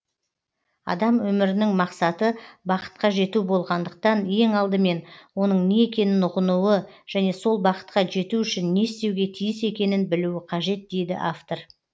адам өмірінің мақсаты бақытқа жету болғандықтан ең алдымен оның не екенін ұғынуы және сол бақытқа жету үшін не істеуге тиіс екенін білуі қажет дейді автор